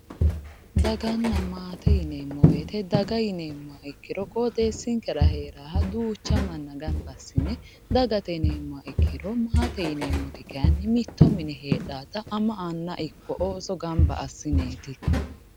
Daganna maate yineemmo woyte daga yineemmoha ikkiro qoxxeesinkera heeraha duucha manna gamba assine dagate yineemmoha ikkiro maate kayinni mitto mine heedhanotta ama Anna ikko ooso gamba assineti.